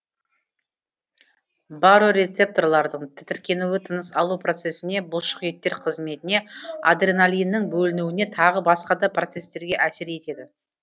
барорецепторлардың тітіркенуі тыныс алу процесіне бұлшық еттер қызметіне адреналиннің бөлінуіне тағы басқа да процестерге әсер етеді